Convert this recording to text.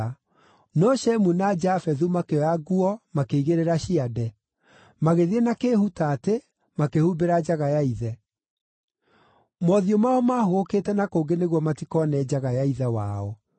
No Shemu na Jafethu makĩoya nguo makĩigĩrĩra ciande; magĩthiĩ na kĩĩhutaatĩ, makĩhumbĩra njaga ya ithe. Mothiũ mao maahũgũkĩte na kũngĩ nĩguo matikoone njaga ya ithe wao.